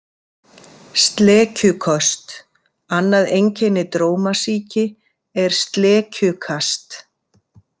Slekjuköst Annað einkenni drómasýki er slekjukast.